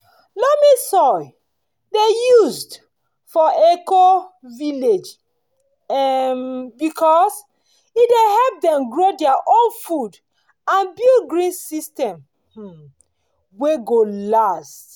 loamy soil dey used for eco-village um because e dey help dem grow their own food and build green system um wey go last.